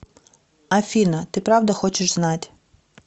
афина ты правда хочешь знать